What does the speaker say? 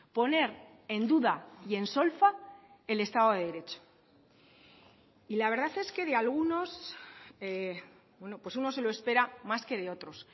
poner en duda y en solfa el estado de derecho y la verdad es que de algunos pues uno se lo espera más que de otros